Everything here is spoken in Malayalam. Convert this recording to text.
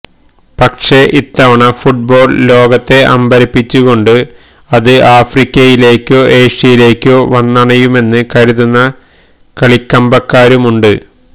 പക്ഷേ ഇത്തവണ ഫുട്ബോൾ ലോകത്തെ അമ്പരപ്പിച്ചുകൊണ്ട് അത് ആഫ്രിക്കയിലേക്കോ ഏഷ്യയിലേക്കോ വന്നണയുമെന്ന് കരുതുന്ന കളിക്കമ്പക്കാരുമുണ്ട്